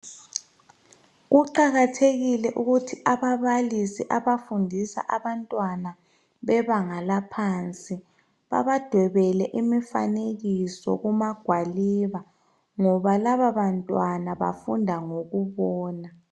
Kuqakathekile ukuthi ababalisi abafundisa abantwana bebanga laphansi babadwebele imifanekiso kumagwaliba ngoba lababantwana bafunda ngokubona.